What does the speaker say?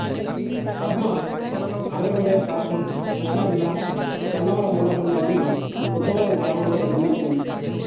పద్మ ఆంధ్రప్రదేశ్ రాష్ట్రం కృష్ణా జిల్లా గన్నవరం మండలంలోని బుద్ధవరం గ్రామంలో జన్మించింది